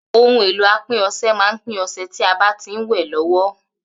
Ohun èlò apín ọsẹ má n pín ọsẹ tí a bá ti ń wè lówó